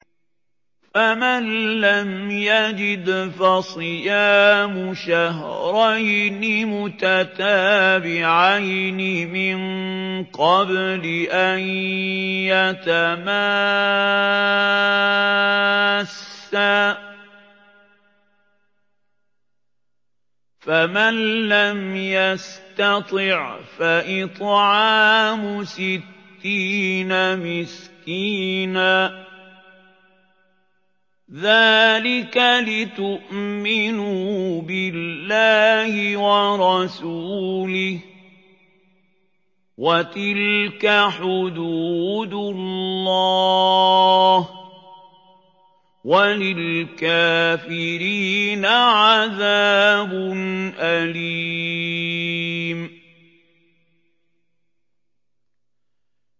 فَمَن لَّمْ يَجِدْ فَصِيَامُ شَهْرَيْنِ مُتَتَابِعَيْنِ مِن قَبْلِ أَن يَتَمَاسَّا ۖ فَمَن لَّمْ يَسْتَطِعْ فَإِطْعَامُ سِتِّينَ مِسْكِينًا ۚ ذَٰلِكَ لِتُؤْمِنُوا بِاللَّهِ وَرَسُولِهِ ۚ وَتِلْكَ حُدُودُ اللَّهِ ۗ وَلِلْكَافِرِينَ عَذَابٌ أَلِيمٌ